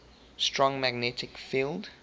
strong magnetic field